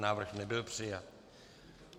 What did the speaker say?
Návrh nebyl přijat.